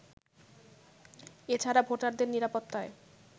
এ ছাড়া ভোটারদের নিরাপত্তায়